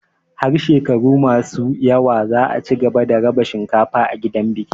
Har shekaru masu zuwa za a cigaba da raba cinkafa a gidan biki.